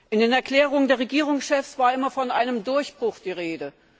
In den Erklärungen der Regierungschefs war immer von einem Durchbruch die Rede.